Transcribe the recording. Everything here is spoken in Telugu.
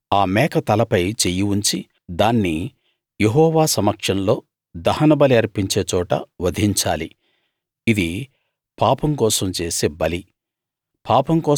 అతడు ఆ మేక తలపై చెయ్యి ఉంచి దాన్ని యెహోవా సమక్షంలో దహనబలి అర్పించే చోట వధించాలి ఇది పాపం కోసం చేసే బలి